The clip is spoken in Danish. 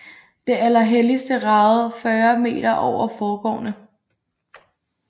Det Allerhelligste ragede 40 meter over forgårdene